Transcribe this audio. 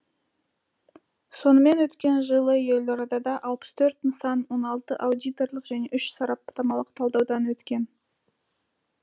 сонымен өткен жылы елордада алпыс төрт нысан он алты аудиторлық және үш сараптамалық талдаудан өткен